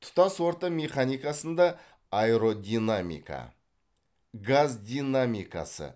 тұтас орта механикасында аэродинамика газ динамикасы